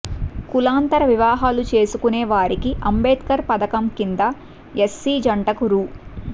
కులాంతర వివాహాలు చేసుకునే వారికి అంబేద్కర్ పథకం కింద ఎస్సి జంటకు రూ